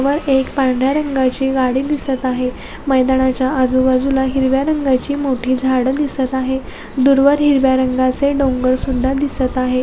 यावर एक पांढर्‍या रंगाची गाडी दिसत आहे मैदानाच्या आजूबाजूला हिरव्या रंगाची मोठी झाडं दिसत आहे दूरवर हिरव्या रंगाचे डोंगर सुद्धा दिसत आहे.